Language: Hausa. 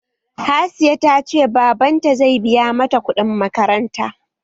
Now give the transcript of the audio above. Hasiya ta ce baban ta zai biya mata kuɗin makaranta?